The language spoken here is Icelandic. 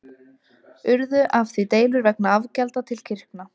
Urðu af því deilur vegna afgjalda til kirkna.